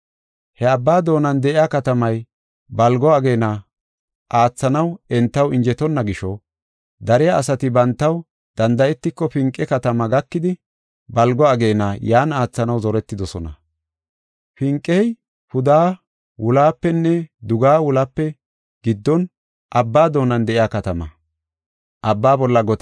He abba doonan de7iya katamay balgo ageena aathanaw entaw injetonna gisho, dariya asati bantaw danda7etiko Finqe katamaa gakidi balgo ageena yan aathanaw zoretidosona. Finqey pudeha-wulohapenne dugeha-wulohape giddon abba doonan de7iya katama.